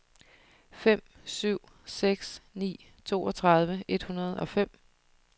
fem syv seks ni toogtredive et hundrede og fem